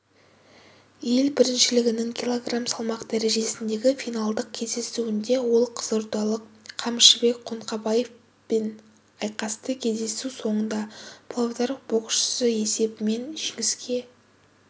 ел біріншілігінің кг салмақ дәрежесіндегі финалдық кездесуінде олқызылордалық қамшыбек қоңқабевпен айқасты кездесу соңында павлодарбоксшысы есебімен жеңіске